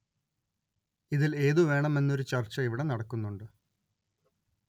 ഇതില്‍ ഏതു വേണം എന്നൊരു ചര്‍ച്ച ഇവിടെ നടക്കുന്നുണ്ട്